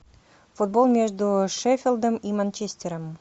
футбол между шеффилдом и манчестером